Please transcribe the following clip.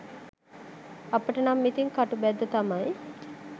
අපිට නම් ඉතින් කටුබැද්ද තමයි.